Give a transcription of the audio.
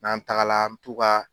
N'an tagala an mɛ t'u ka